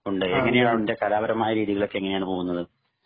എങ്ങനെയാണു അതിന്റെ കലാപരമായ രീതികളൊക്കെ എങ്ങനെയാണ് പോകുന്നത്